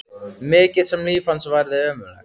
Mikið sem líf hans hafði verið ömurlegt.